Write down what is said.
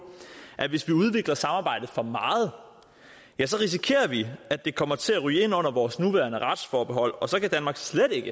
at hvis vi udvikler samarbejdet for meget risikerer vi at det kommer til at ryge ind under vores nuværende retsforbehold og så kan danmark slet ikke